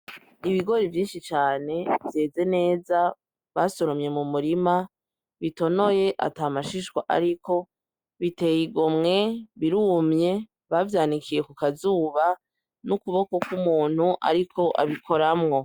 Ibigori vyinshi cane vyeze neza basoromye mu murima bitonoye atamashishwa ariko, biteye igomwe birumye bavyanikiye kukazuba n'ukuboko k'umuntu ariko abikoramwo.